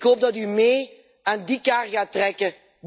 Ik hoop dat u mee aan die kar gaat trekken.